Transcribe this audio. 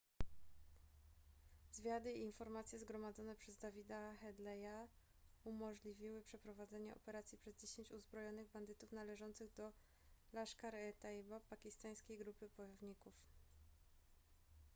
zwiady i informacje zgromadzone przez davida headleya umożliwiły przeprowadzenie operacji przez 10 uzbrojonych bandytów należących do laskhar-e-taiba pakistańskiej grupy bojowników